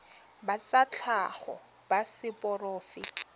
ba tsa tlhago ba seporofe